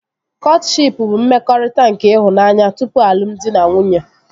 Kọtshịp bụ mmekọrịta nke ịhụnanya tupu alụmdi na nwunye